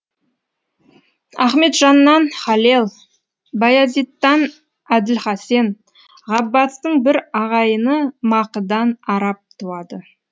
ахметжаннан халел баязиттан әділхасен ғаббастың бір ағайыны мақыдан араб туады